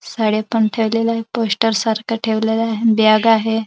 साड्या पण ठेवलेल आहे पोस्टर सारख ठेवलेल आहे बॅग आहे.